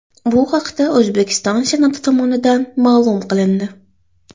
Bu haqda O‘zbekiston Senati tomonidan ma’lum qilindi .